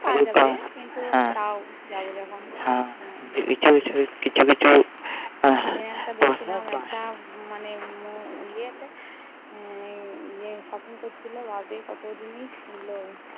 আর রুপা হ্যাঁ কিন্তু তাও যাবে যখন কিছু কিছু হ্যাঁ মানে ইয়েতে Shopping করছিলো বাপরে কতো জিনিস কিনলো